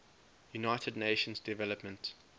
united nations development